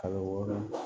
Kalo wɔɔrɔ